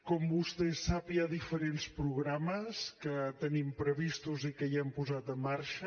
com vostè sap hi ha diferents programes que tenim previstos i que ja hem posat en marxa